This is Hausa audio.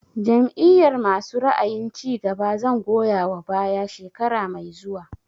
Jam'iyar masu ra'ayin cigaba zan goya wa baya shekara mai zuwa